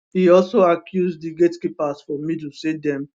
e also accuse di gatekeepers for middle say dem